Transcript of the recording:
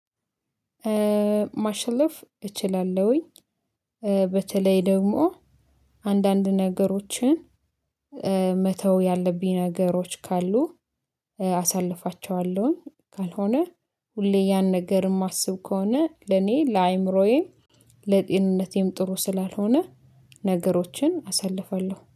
ማሸነፍ እችላለሁኝ። በተለይ ደግሞ አንዳንድ ነገሮችን መተው ያለብኝ ነገሮች ካሉ አሳልፋቸዋለሁኝ። ካልሆነ ሁሌ ያን ነገር የማስብ ከሆነ ለኔ ለአይምሮዬ ለጤንነቴም ጥሩ ስላልሆነ ነገሮችን አሳልፋለሁ